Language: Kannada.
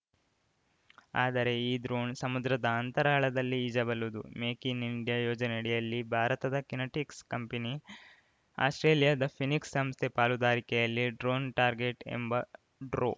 ಆದರೆ ಈ ಡ್ರೋಣ್‌ ಸಮುದ್ರದ ಅಂತರಾಳದಲ್ಲಿ ಈಜಬಲ್ಲದು ಮೇಕ್‌ ಇನ್‌ ಇಂಡಿಯಾ ಯೋಜನೆಯಡಿಯಲ್ಲಿ ಭಾರತದ ಕಿನೆಟಿಕ್ಸ್‌ ಕಂಪನಿ ಅಸ್ಪ್ರೇಲಿಯಾದ ಫೀನ್ಸಿಕ್ಸ್‌ ಸಂಸ್ಥೆ ಪಾಲುದಾರಿಕೆಯಲ್ಲಿ ಡ್ರೋನ್‌ ಟಾರ್ಗೆಟ್‌ ಎಂಬ ಡ್ರೋ